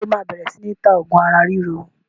Ṣé o máa bẹ̀rẹ̀ sini ta oògùn ara ríro?